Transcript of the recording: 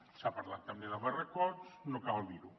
s’ha parlat també de barracots no cal dir ho